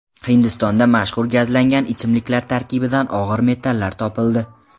Hindistonda mashhur gazlangan ichimliklar tarkibidan og‘ir metallar topildi.